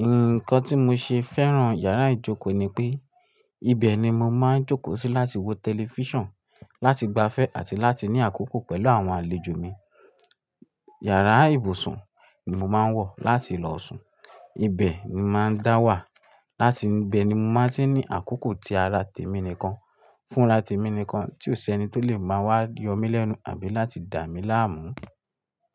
Ǹkan tí mo ṣe fẹ́ràn yàrá ìjókòó ni pé, ibẹ̀ ni mo máa ń jókòó sí láti wo tẹlifísàn, láti gbafẹ́, àti láti ní àkókò pẹ̀lú àwọn àlejò mi. Yàrá ìbùsùn ni mo máa ń wọ láti lọ sùn, ibẹ̀ ni mo máa ń dáwà, láti bẹ̀ ni mo máa sì ní àkókò tí ara tèmi nìkan, fúnra tèmi nìkan, tí ó ṣe ni tó lè máa wá yọ mí lẹ́nu àbí láti dà mí láàmú.